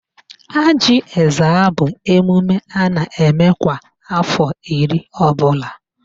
Ajị Ezza bụ emume a na-eme kwa afọ iri ọbụla